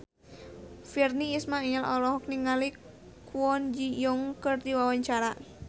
Virnie Ismail olohok ningali Kwon Ji Yong keur diwawancara